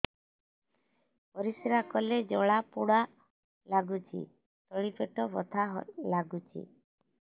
ପରିଶ୍ରା କଲେ ଜଳା ପୋଡା ଲାଗୁଚି ତଳି ପେଟ ବଥା ଲାଗୁଛି